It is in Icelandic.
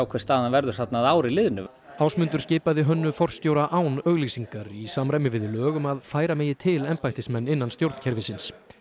hver staðan verður þarna að ári liðnu Ásmundur skipaði Hönnu forstjóra án auglýsingar í samræmi við lög um að færa megi til embættismenn innan stjórnkerfisins